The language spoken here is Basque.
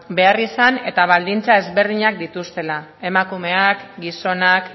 beharrizan eta baldintza desberdinak dituztela emakumeak gizonak